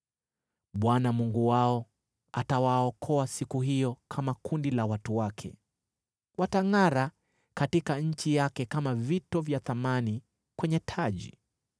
Bwana Mungu wao atawaokoa siku hiyo kama kundi la watu wake. Watangʼara katika nchi yake kama vito vya thamani kwenye taji.